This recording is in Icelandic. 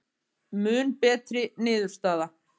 Mun betri niðurstaða